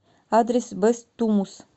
адрес бэс тумус